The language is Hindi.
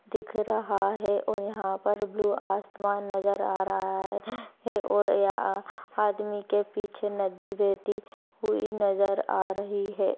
दिख रहा दिख रहा है और यहां पर ब्लू आसमान नजर आ रहा है और यहाँ आदमी के पीछे नदी बहती हुई नजर आ रही है।